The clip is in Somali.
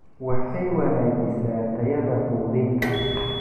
Waxay wanaajisaa tayada quudinta.